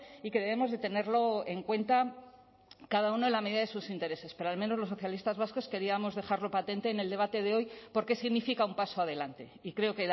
y que debemos de tenerlo en cuenta cada uno en la medida de sus intereses pero al menos los socialistas vascos queríamos dejarlo patente en el debate de hoy porque significa un paso adelante y creo